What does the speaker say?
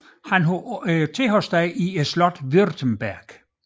Han havde tilholdssted i slottet Württemberg